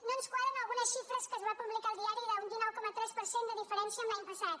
no ens quadren algunes xifres que es van publicar al diari d’un dinou coma tres per cent de diferència amb l’any passat